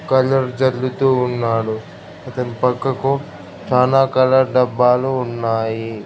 Colour జల్లుతూ ఉన్నాడు ఇతని పక్కకు చాలా కలర్ డబ్బాలు ఉన్నాయి.